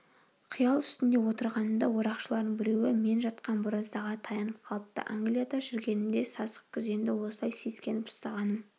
қиял үстінде отырғанымда орақшылардың біреуі мен жатқан бораздаға таянып қалыпты англияда жүргенімде сасықкүзенді осылай сескеніп ұстағаным